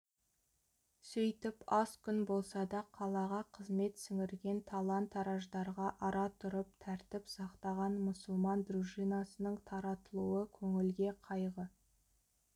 сөйтіп аз күн болса да қалаға қызмет сіңірген талан-тараждарға ара тұрып тәртіп сақтаған мұсылман дружинасының таратылуы көңілге қайғы